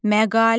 Məqalə.